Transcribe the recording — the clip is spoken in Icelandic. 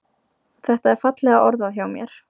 Þetta er fallega orðað hjá mér.